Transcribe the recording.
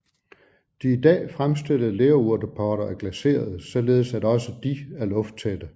De i dag fremstillede lerurtepotter er glaserede således at også de er lufttætte